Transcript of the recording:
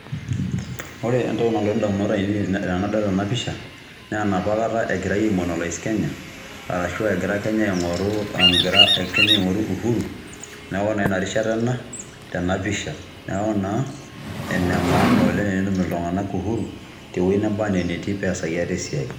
Ore entoki nalotu ndamunot ainet tenadol ena pisha naa enapa kata egirai aimonolize Kenya arashu egira Kenya aing'oru uhuru, neeku naa ina rishata ena tena pisha. Neeku naa ene maana oleng' tenetum iltung'anak uhuru tewue neba nee netii peyie easaki ate esiai.